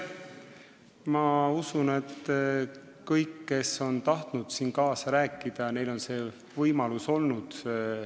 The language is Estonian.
Ma usun, et kõigil, kes on tahtnud kaasa rääkida, on see võimalus olnud.